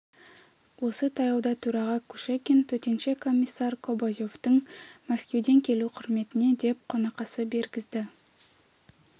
осы таяуда төраға кушекин төтенше комиссар кобозевтің мәскеуден келу құрметіне деп қонақасы бергізді